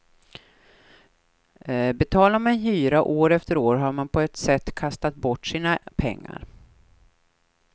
Betalar man hyra år efter år har man på ett sätt kastat bort sina pengar.